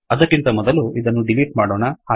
ಅದಕ್ಕಿಂತ ಮೊದಲು ಇದನ್ನು ಡಿಲೀಟ್ ಮಾಡೋಣ